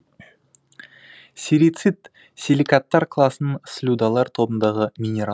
серицит силикаттар класының слюдалар тобындағы минерал